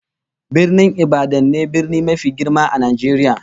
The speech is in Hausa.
Birnin Ibadan ne brni mafi girma a Najeriya